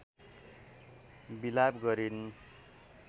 विलाप गरिन्